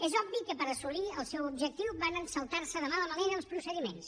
és obvi que per assolir el seu objectiu varen saltar se de mala manera els procediments